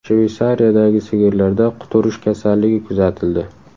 Shveysariyadagi sigirlarda quturish kasalligi kuzatildi.